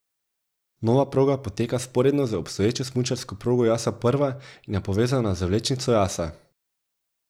Nova proga poteka vzporedno z obstoječo smučarsko progo Jasa I in je povezana z vlečnico Jasa.